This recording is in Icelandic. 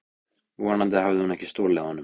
Vonandi hafði hún ekki stolið honum.